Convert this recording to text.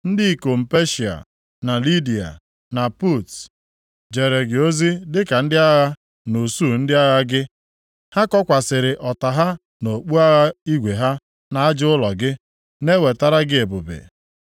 “ ‘Ndị ikom Peshịa na Lidiya, + 27:10 Maọbụ, Lud na Put, jere gị ozi dịka ndị agha nʼusuu ndị agha gị. Ha kokwasịrị ọta ha na okpu agha igwe ha nʼaja ụlọ gị, na-ewetara gị ebube.